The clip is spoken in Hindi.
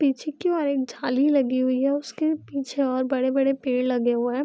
पीछे की ओर एक झाली लगी हुई है उसके पीछे और बड़े-बड़े पेड़ लगे हुए हैं।